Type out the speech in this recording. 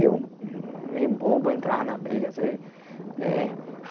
Eu, meio bobo, entrava na briga às vezes. Eh